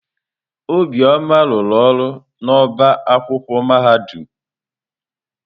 Obioma rụrụ ọrụ n'ọba akwụkwọ mahadum.